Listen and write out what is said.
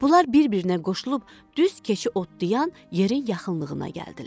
Bunlar bir-birinə qoşulub düz keçi otlayan yerin yaxınlığına gəldilər.